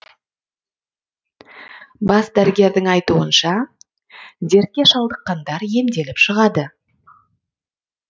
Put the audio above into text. бас дәрігердің айтуынша дертке шалдыққандар емделіп шығады